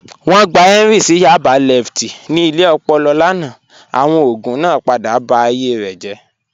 Wọn gbà Henry sí Yaba lẹftí ní ilẹ̀ òpòlò lánà, awọn ogun naa padà bá ayé rẹ jẹ́.